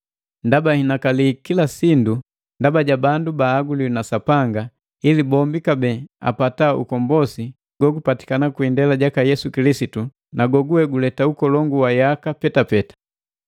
Ndaba nhinakali kila sindu ndaba ja bandu bahaguliwi na Sapanga, ili bombi kabee apata ukombosi gogupatikana kwi indela jaka Yesu Kilisitu, na goguwe guleta ukolongu wa yaka petapeta.